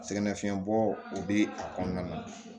Sɛgɛnnafiɲɛbɔ o bɛ a kɔnɔna na